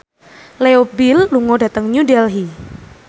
Leo Bill lunga dhateng New Delhi